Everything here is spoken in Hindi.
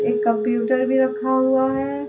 एक कंप्यूटर भी रखा हुआ है।